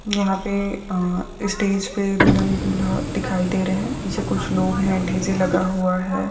यहा पे अ स्टेजपे दुलहन धुला दिखाई दे रहे है नीचे कुच्छ लोग है डी.जे लगा हुआ है।